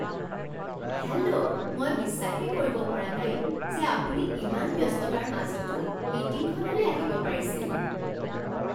Hello! মই বিশ্বাসেই কৰিব পৰা নাই যে আপুনি ইমান ব্যস্ততাৰ মাজতো মিটিংখনলৈ আহিব পাৰিছিল !